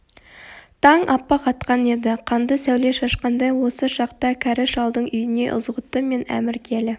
таң аппақ атқан еді қанды сәуле шашқандай осы шақта кәрі шалдың үйіне ызғұтты мен әмір келі